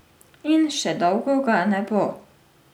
In še dolgo ga ne bo.